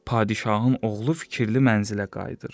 Padşahın oğlu fikirli mənzilə qayıdır.